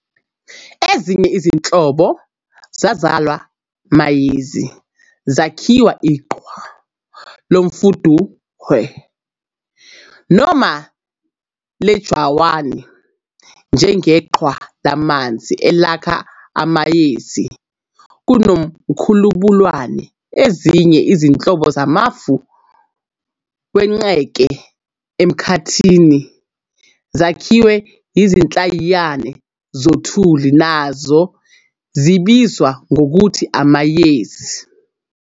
Ezinye izinhlobo zalawa mayezi zakhiwa iqhwa lomthundohwe noma lejawani, njengeqhwa lamanzi elakha amayezi kuNomkhubulwane. Ezinye izinhlobo zamafu wenqeke emkhathini zakhiwa izinhlayiyana zothuli, nazo zibizwa ngokuthi amayezi.